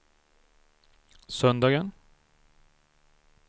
söndagen